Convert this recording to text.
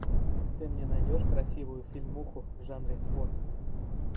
ты мне найдешь красивую фильмуху в жанре спорт